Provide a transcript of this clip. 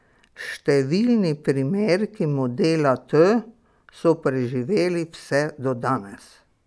Številni primerki modela T so preživeli vse do danes.